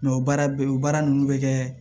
o baara bɛ o baara ninnu bɛ kɛ